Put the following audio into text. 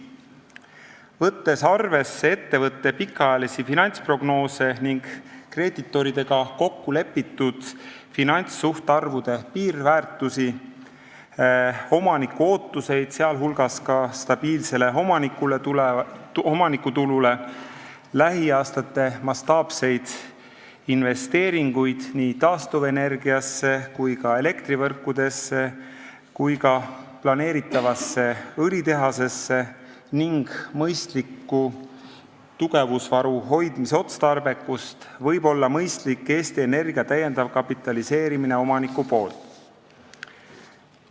Võttes arvesse ettevõtte pikaajalisi finantsprognoose ning kreeditoridega kokkulepitud finantssuhtarvude piirväärtusi, omaniku ootuseid, sh stabiilsele omanikutulule, lähiaastate mastaapseid investeeringuid taastuvenergiasse, elektrivõrkudesse ja ka planeeritavasse õlitehasesse ning mõistliku tugevusvaru hoidmise otstarbekust, võib olla mõistlik Eesti Energia täiendav kapitaliseerimine omaniku poolt.